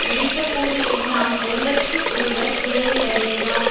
முடிந்தபோது எல்லாம் ஒருவர்க்கு ஒருவர் உதவுவதேயாம்